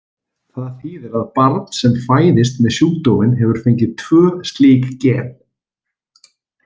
Það þýðir að barn sem fæðist með sjúkdóminn hefur fengið tvö slík gen.